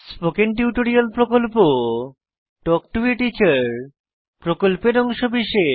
spoken tutorial প্রকল্প talk to a teacher প্রকল্পের অংশবিশেষ